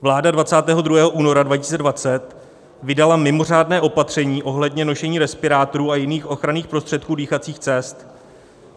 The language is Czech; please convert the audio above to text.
Vláda 22. února 2020 vydala mimořádné opatření ohledně nošení respirátorů a jiných ochranných prostředků dýchacích cest.